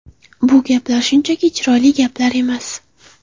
Bu gaplar shunchaki chiroyli gaplar emas.